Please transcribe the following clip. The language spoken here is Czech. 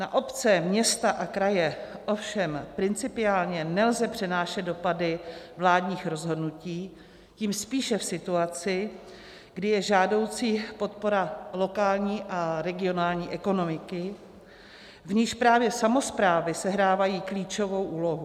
Na obce, města a kraje ovšem principiálně nelze přenášet dopady vládních rozhodnutí, tím spíše v situaci, kdy je žádoucí podpora lokální a regionální ekonomiky, v níž právě samosprávy sehrávají klíčovou úlohu.